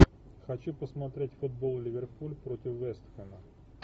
хочу посмотреть футбол ливерпуль против вест хэма